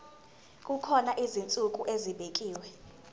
kukhona izinsuku ezibekiwe